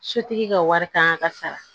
Sotigi ka wari ta ka sara